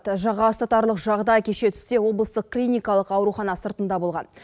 жаға ұстатарлық жағыдай кеше түсте облыстық клиникалық аурухана сыртында болған